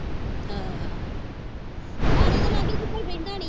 ਹਾਂ ਹਾਂ ਮਾੜੇ ਦੇ ਲਾਗੇ ਤੇ ਕੋਈ